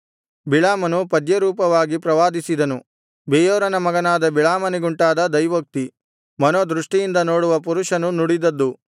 ಬಿಳಾಮನು ಪದ್ಯರೂಪವಾಗಿ ಪ್ರವಾದಿಸಿದನು ಬೆಯೋರನ ಮಗನಾದ ಬಿಳಾಮನಿಗುಂಟಾದ ದೈವೋಕ್ತಿ ಮನೋದೃಷ್ಟಿಯಿಂದ ನೋಡುವ ಪುರುಷನು ನುಡಿದದ್ದು